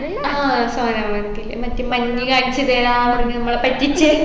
ആ ആ സോനാമാർഗിൽ മറ്റേ മഞ്ഞു കാണിച്ചു തരാ പറഞ്ഞ് നമ്മളെ പറ്റിച്ചേ